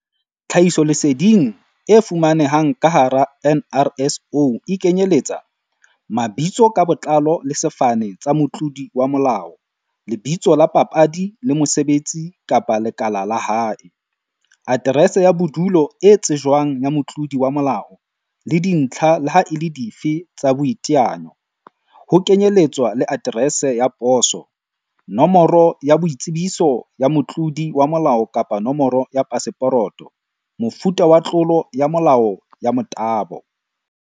Tlhahisoleseding e fumanehang ka hara NRSO e kenyeletsa, Mabitso ka botlalo le sefane tsa motlodi wa molao, lebitso la papadi le mosebetsi kapa lekala la hae, Aterese ya bodulo e tsejwang ya Motlodi wa molao, le dintlha leha e le dife tsa boiteanyo, ho kenyeletswa le aterese ya poso, Nomoro ya boitsebiso ya motlodi wa molao kapa nomoro ya paseporoto, Mofuta wa tlolo ya molao ya motabo.